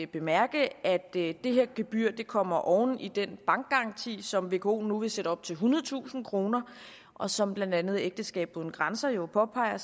bemærke at det her gebyr kommer oven i den bankgaranti som vko nu vil sætte op til ethundredetusind kroner og som blandt andet ægteskab uden grænser jo påpeger